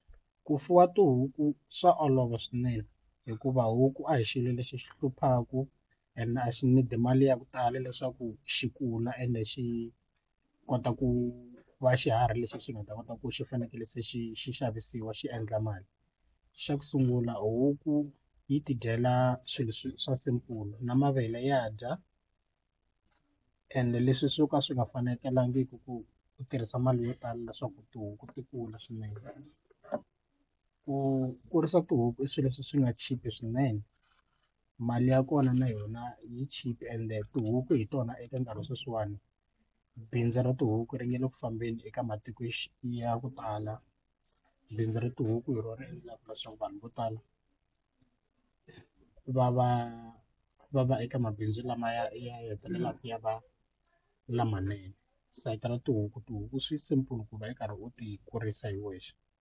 Ku fuwa tihuku swa olova swinene hikuva huku a hi xilo lexi xi hluphaku and a xi need-i mali ya ku tala leswaku xi kula ende xi kota ku va xiharhi lexi nga ta kota ku xi fanekele se xi xi xavisiwa xi endla mali xa ku sungula huku yi tidyela swilo swa simple na mavele ya dya ende leswi swo ka swi nga fanekelangiki ku u tirhisa mali yo tala leswaku tihuku ti kula swinene ku kurisa tihuku i swilo leswi swi nga chipa swinene mali ya kona na yona yi chipe ende tihuku hi tona eka ndhawu sweswiwani bindzu ra tihuku ri nga le ku fambeni eka matiko ya ku tala bindzu ri tihuku hi rona ri endlaka leswaku vanhu vo tala va va va va eka mabindzu lamaya ya hetelelaka ya va lamanene sayiti ra tihuku tihuku swi simple ku va yi karhi u ti kurisa hi wexe.